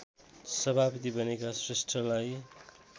सभापति बनेका श्रेष्ठलाई